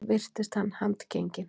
Virtist hann handgenginn